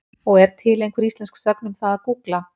Og er til einhver íslensk sögn um það að gúgla?